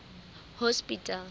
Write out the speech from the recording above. hospital